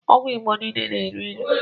ọgwụ igbọ niile na- elụ ilụ